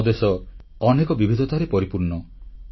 ଆମ ଦେଶ ଅନେକ ବିବିଧତାରେ ପରିପୂର୍ଣ୍ଣ